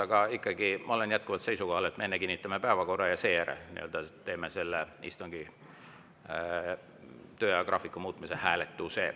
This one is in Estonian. Aga ikkagi, ma olen jätkuvalt seisukohal, et me enne kinnitame päevakorra ja seejärel teeme selle istungi töö ajagraafiku muutmise hääletuse.